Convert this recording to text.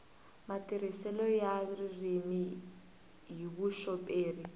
matirhiselo ya ririmi hi vuxoperi